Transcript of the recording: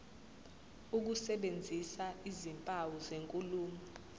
ukusebenzisa izimpawu zenkulumo